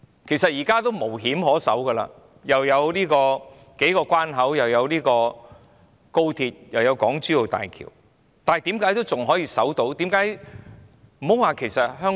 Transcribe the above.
其實，現在地理上也是互通的，因為既有數個關口，又有高鐵，又有港珠澳大橋，但香港仍然可以守着本身的制度。